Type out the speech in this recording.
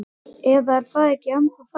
Eða er það ekki ennþá þannig?